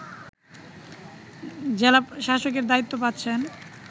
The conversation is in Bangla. জেলাশাসকের দায়িত্ব পাচ্ছেন